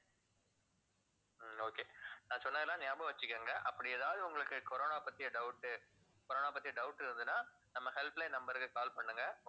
உம் okay நான் சொன்னதெல்லாம் ஞாபகம் வச்சுக்கோங்க அப்படி ஏதாவது உங்களுக்கு corona பத்திய doubt corona பத்தி doubt இருந்ததுன்னா நம்ம helpline number க்கு call பண்ணுங்க